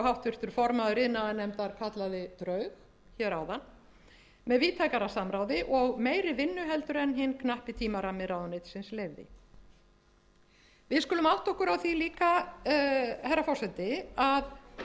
háttvirtur formaður iðnaðarnefndar kallaði brauð hér áðan með víðtækara samráði og meiri vinnu en hinn knappi tímarammi ráðuneytisins leyfði við skulum átta okkur á því líka herra forseti að hraðinn